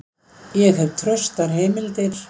Ég hef traustar heimildir.